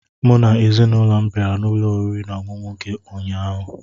Mụ na ezinụlọ m bịara n'ụlọ oriri na ọṅụṅụ gị ụnyaahụ